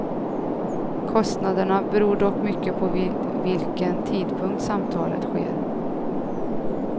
Kostnaderna beror dock mycket på vid vilken tidpunkt samtalet sker.